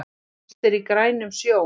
Allt er í grænum sjó